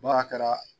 Baara kɛra